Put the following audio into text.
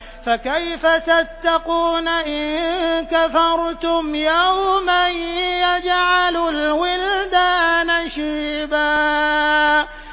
فَكَيْفَ تَتَّقُونَ إِن كَفَرْتُمْ يَوْمًا يَجْعَلُ الْوِلْدَانَ شِيبًا